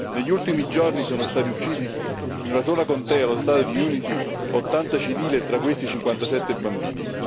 Negli ultimi giorni sono stati uccisi in una sola contea, nello Stato di Unity, 80 civili, e tra questi 57 bambini.